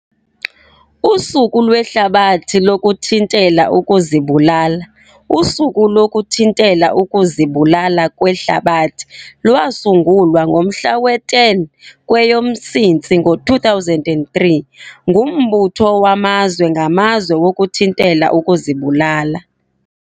Usuku lweHlabathi lokuThintela ukuzibulalaUSuku lokuThintela ukuziBulala lweHlabathi lwasungulwa ngomhla we-10 kweyoMsintsi 2003, nguMbutho waMazwe ngaMazwe wokuThintela ukuziBulala.